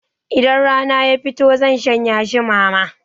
Idan rana ya fito zan shanyashi mama.